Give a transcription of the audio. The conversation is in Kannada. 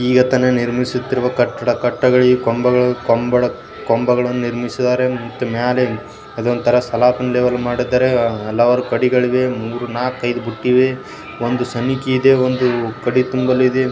ಈಗ ತಾನೇ ನಿರ್ಮಿಸುತ್ತಿರುವ ಕಟ್ಟಡ ಕಟ್ಟಡದಲ್ಲಿ ಕಂಬ ಕಂಬ ಕಂಬಗಳನ್ನು ನಿರ್ಮಿಸಿದ್ದಾರೆ ಮತ್ತೆ ಮೇಲೆ ಸಲಾಕೆಗಳನ್ನು ಮಾಡಿದ್ದಾರೆ. ಮತ್ತು ಮ್ಯಾಲೆ ಸಾಲಪು ಹಲವಾರು ಕಡಿಪಗಳಿವೆ ನಾಲಕೈದು ಗುದ್ದಿವೆ ಒಂದು ಚಣಿಕೆ ಇದೆ ಒಂದು ಕಾದಿ ತುಂಬಲು ಇದೆ.